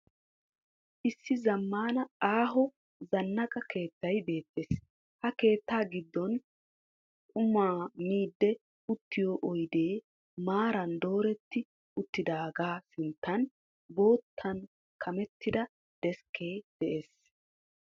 Issi zammaana aaho zannaqa keettay beettees. Ha keettaa giddon qumaa miiddi uttiyo oyidee maaran dooretti uttidaagaa sinttan boottan kamettida deskkee de'ees s.